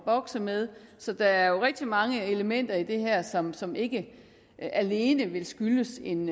bokse med så der er jo rigtig mange elementer i det her som som ikke alene vil skyldes en